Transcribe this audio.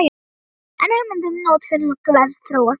En hugmyndin um notkun glers þróast áfram.